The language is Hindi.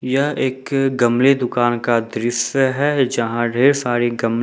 यह एक गमले दुकान का दृश्य है जहां ढेर सारी गमले--